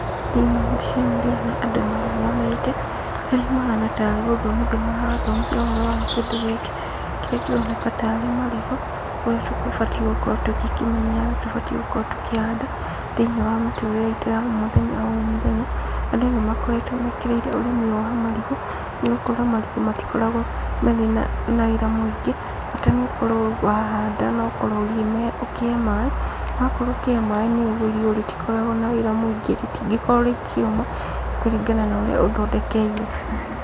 Thĩinĩ wa mbica ĩno ndĩrona andũ marũgamĩte, harĩa mahana tarĩ gũthomithio marathomithio ũhoro wa kĩndũ gĩkĩ, kĩrĩa kĩroneka tarĩ marigũ, ũrĩa tũgũbatiĩ gũkorũo tũgĩkĩmenyerera na tũbatiĩ gũkorũo tũkĩhanda, thĩinĩ wa mĩtũrĩre itũ ya omũthenya omũthenya, andũ nĩmakoretũo mekĩrĩire ũrĩmi ũyũ wa marigũ, nĩgũkorũo marigũ matikoragũo, marĩ na wĩra mũingĩ, bata nĩũkorũo wahanda nokorũo ũkĩ, ũkĩhe maĩ, wakorũo ũkĩhe maĩ nĩũguo irigũ rĩtikoragũo na wĩra mũingĩ rĩtingĩkorũo rĩkĩũma, kũringana na ũrĩa ũthondekeire.